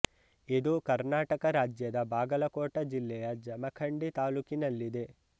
ಇದು ಕರ್ನಾಟಕ ರಾಜ್ಯದ ಬಾಗಲಕೋಟ ಜಿಲ್ಲೆ ಯ ಜಮಖಂಡಿ ತಾಲ್ಲೂಕಿ ನಲ್ಲಿದೆ